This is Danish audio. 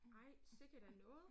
Ej sikke da noget